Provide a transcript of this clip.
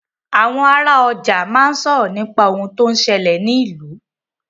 Àwọn ara ọjà máa n sọ̀rọ̀ nípa ohun tó ń ṣẹlè ní ìlú.